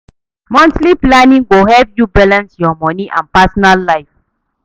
Monthly planning go help yu balance yur moni and personal life.